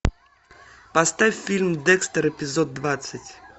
поставь фильм декстер эпизод двадцать